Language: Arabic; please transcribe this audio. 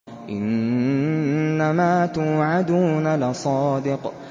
إِنَّمَا تُوعَدُونَ لَصَادِقٌ